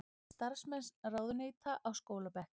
Starfsmenn ráðuneyta á skólabekk